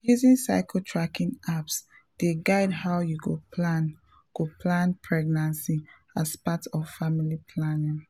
using cycle tracking apps dey guide how you go plan go plan pregnancy as part of family planning.